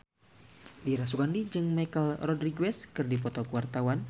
Dira Sugandi jeung Michelle Rodriguez keur dipoto ku wartawan